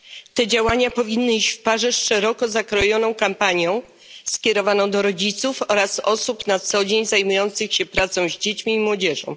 Te działania powinny iść w parze z szeroko zakrojoną kampanią skierowaną do rodziców oraz osób na co dzień zajmujących się pracą z dziećmi i młodzieżą.